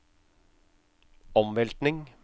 omveltning